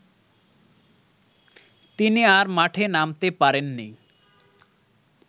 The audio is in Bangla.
তিনি আর মাঠে নামতে পারেননি